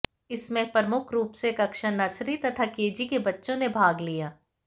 इसमें प्रमुख रूप से कक्षा नर्सरी तथा केजी के बच्चों ने भाग लिया